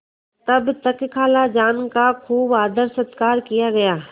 तब तक खालाजान का खूब आदरसत्कार किया गया